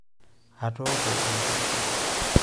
Atooko oloshoro sapuk.